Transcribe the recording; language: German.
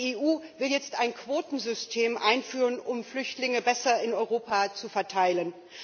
Die EU will jetzt ein Quotensystem einführen, um Flüchtlinge besser in Europa zu verteilen.